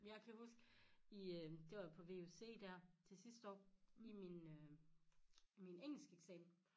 Jeg kan huske i øh det var på vuc dér til sidste år i min øh min engelskeksamen